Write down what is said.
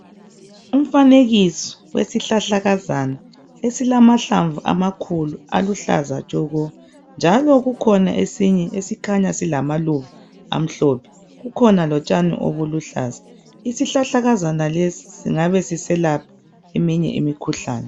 Umfanekiso wesihlahlakazana esilamahlamvu amakhulu aluhlaza tshoko, njalo kukhona esinye esikhanya silamaluba amhlophe. Kukhona lotshani obuluhlaza. Isihlahlakazana lesi singabe siselapha eminye imikhuhlane.